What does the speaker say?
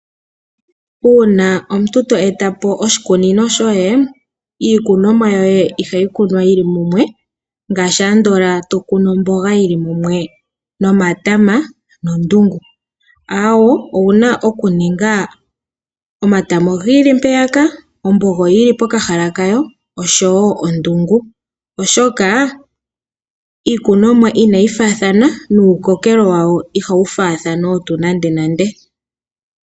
Uuna omuntu to e ta po oshikunino shoye, iikunomwa yoye ihayi kunwa yili mumwe ngaashi andola to kunu omboga yili mumwe nomatama nondungu, awoo, owuna okuninga omatama ogi ili mpeyaka, omboga oyi ili pokahala kayo oshowo ondungu, oshoka iikunomwa inayi faathana nuukokelo wawo ihawu faathana otuu nandenande.